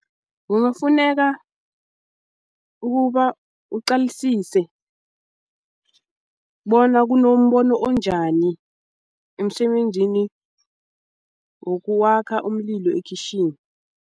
Kungafuneka ukuba uqalisise bona kunombono onjani emsebenzini wokwakha umlilo ekhitjhini.